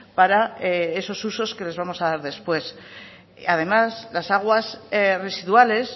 para esos usos que les vamos a dar después además las aguas residuales